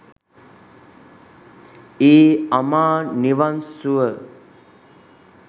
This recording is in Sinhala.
ඒ අමා නිවන් සුව